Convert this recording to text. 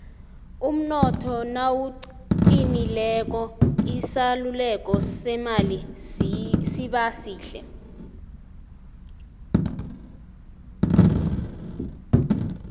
umnotho nawuqinileko isaluleko semali siba sihle